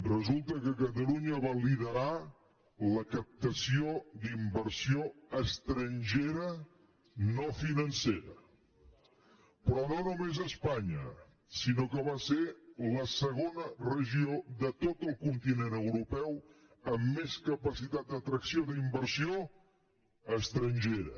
resulta que catalunya va liderar la captació d’inversió estrangera no financera però no només a espanya sinó que va ser la segona regió de tot el continent europeu amb més capacitat d’atracció d’inversió estrangera